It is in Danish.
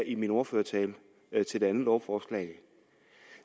i min ordførertale til det andet lovforslag